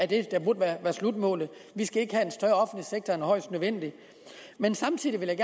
det der burde være slutmålet vi skal ikke have en større offentlig sektor end højst nødvendigt men samtidig vil jeg